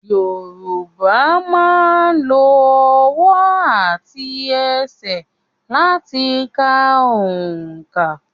Yorùbá máa ń lo ọwọ́ àti ẹsẹ̀ láti ka òǹkà